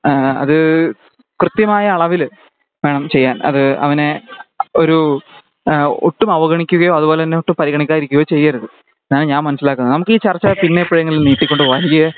അത് കൃത്യമായ അളവില് വേണം ചെയ്യാൻ അത് അവനെ ഒരു ഒട്ടും അവഗണിക്കയോ ഒട്ടും പരിഗണിക്കാതെ ഇരിക്കയോ ചെയ്യരുത് ഞാന് ഞാൻ മനസിലാക്കുന്നത് നമക് ഈ ചർച്ച പിന്നെ എപ്പോഴെക്കും നീട്ടി കൊണ്ട് പോവാം ഇല്ലേ